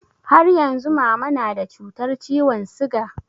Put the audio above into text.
Har yanzu mama na da cutar ciwon siga?